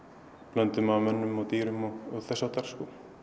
blöndu af mönnum og dýrum og þess háttar